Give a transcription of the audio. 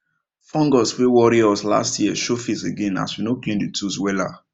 fungus wey worry us last year show face again as we no clean the tools wella